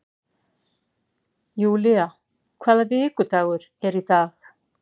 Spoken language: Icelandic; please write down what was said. Julia, hvaða vikudagur er í dag?